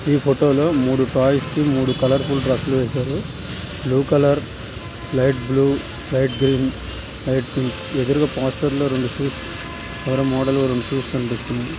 ఈ ఫోటోలో మూడు టాయ్స్ కి మూడు కలర్ ఫుల్ డ్రెస్సులు బ్లూ కలర్ లైట్ బ్లూ చేస్తుంది